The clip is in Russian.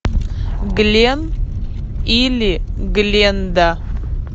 глен или гленда